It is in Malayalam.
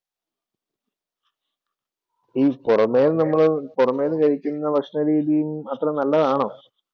ഈ പുറമെന്നു പുറമെന്നു കഴിക്കുന്ന ഭക്ഷണ രീതിയും അത്ര നല്ലതാണോ?